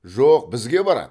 жоқ бізге барады